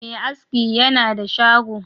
Me aski yana da shago